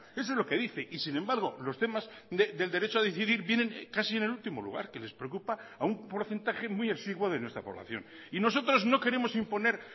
eso es lo que dice y sin embargo los temas del derecho a decidir vienen casi en el último lugar que les preocupa a un porcentaje muy exiguo de nuestra población y nosotros no queremos imponer